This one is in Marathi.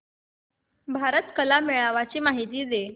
भारत कला मेळावा ची माहिती दे